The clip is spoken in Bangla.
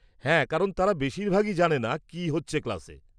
-হ্যাঁ কারণ তারা বেশিরভাগই জানেনা কি হচ্ছে ক্লাসে।